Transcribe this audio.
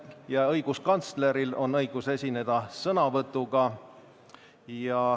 Ka õiguskantsleril on õigus esineda sõnavõtuga.